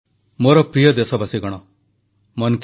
NCC ବିଶ୍ୱର ସବୁଠୁ ସଂଗଠିତ ଯୁବ ସଂଗଠନ ପ୍ରଧାନମନ୍ତ୍ରୀ